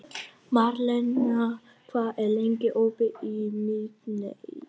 Marlena, hvað er lengi opið í Miðeind?